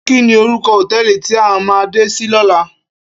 Kini órúkò hótèlí ti á má dé si lòlá?